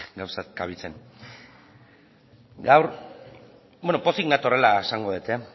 gauzak kabitzen gaur pozik natorrela esango dut